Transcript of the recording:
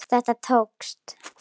Þetta tókst.